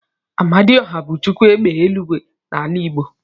Amadioha bu Chukwu égbè eluigwe n'ala igbo.